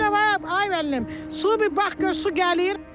Deyirlər ay müəllim, su bir bax gör su gəlir.